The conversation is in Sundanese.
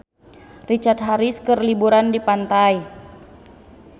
Richard Harris keur liburan di pantai